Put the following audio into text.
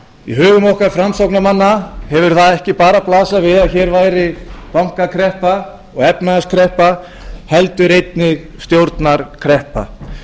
í hugum okkar framsóknarmanna hefur það ekki bara blasað við að hér væri bankakreppa og efnahagskreppa heldur einnig stjórnarkreppa